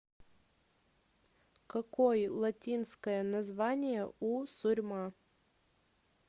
какой латинское название у сурьма